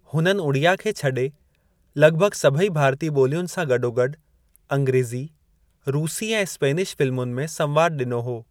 हुननि उड़िया खे छडे॒ लगि॒भगि॒ सभई भारतीय ॿोलियुनि सां गॾो- गॾु अंग्रेज़ी, रूसी ऐं स्पेनिश फ़िल्मुनि में संवादु डि॒नो हो।